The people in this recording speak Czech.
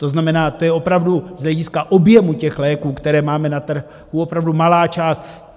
To znamená, to je opravdu z hlediska objemu těch léků, které máme na trhu, opravdu malá část.